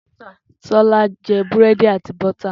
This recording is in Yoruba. Tola jẹ búrẹ́dì àti bótà.